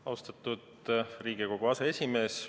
Austatud Riigikogu aseesimees!